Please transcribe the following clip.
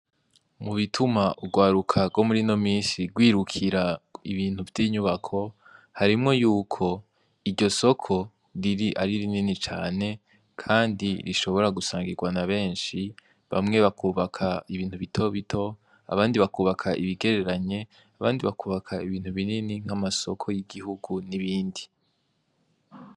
Mubituma urwaruka rwo murino minsi rwirukira ibintu vyinyubako harimwo yuko iryo soko riri ari rinini cane kandi rishobra gusangirwa nabenshi bamwe bakubaka ibintu bito bito, abandi bakubaka ibigereranye, abandi bakubaka ibintu binini nkamasoko yigihugu n'ibindi.